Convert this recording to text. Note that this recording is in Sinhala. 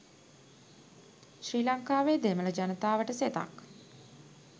ශ්‍රී ලංකාවේ දෙමළ ජනතාවට සෙතක්